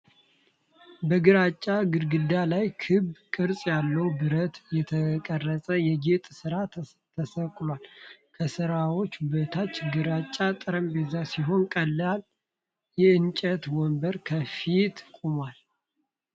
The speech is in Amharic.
በግራጫ ግድግዳ ላይ ክብ ቅርጽ ያለው በብረት የተቀረጸ የጌጥ ሥራ ተሰቅሏል። ከሥራው በታች ግራጫ ጠረጴዛ ሲሆን፣ ቀላል የእንጨት ወንበር ከፊቱ ቆሟል።